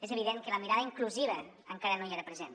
és evident que la mirada inclusiva encara no hi era present